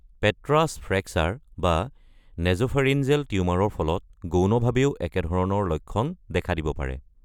পেট্ৰাছ fracture বা nasopharyngeal টিউমাৰৰ ফলত গৌণভাৱেও একেধৰণৰ লক্ষণ দেখা দিব পাৰে।